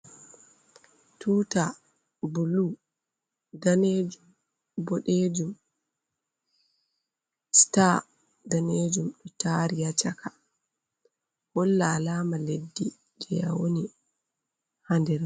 Tuuta bulu, daneejum, boɗeejum ,siita daneejum ɗo taari haa caka holla alaama leddi jey a woni haa nder.